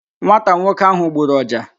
Nwata nwoke ahụ gburu ọja